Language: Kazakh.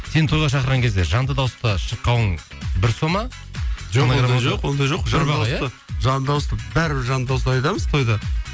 сені тойға шақырған кезде жанды дауыста шырқауың бір сома жоқ ондай жоқ ондай жоқ жанды дауыста жанда дауыста бәрібір жанды дауыста айтамыз тойда